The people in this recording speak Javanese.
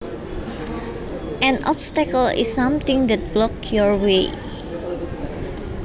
An obstacle is something that blocks your way